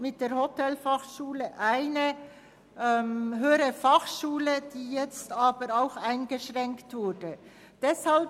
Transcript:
Mit der Hotelfachschule haben wir eine HF, die jetzt aber auch von finanziellen Einschränkungen betroffen ist.